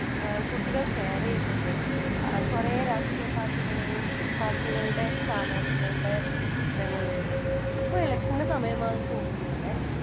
കുട്ടികൾ ഷെയർ ചെയ്യുന്നുണ്ട് അത് കൊറേ രാഷ്ട്രീയ പാർട്ടികൾ പാർട്ടികളുടെ സ്ഥാനാർത്ഥികളുടെ ചിത്രങ്ങൾ വച്ച് . ഇപ്പൊ ഇലെക്ഷന്റെ സമയമാണെന്ന് തോന്നുന്നു അല്ലെ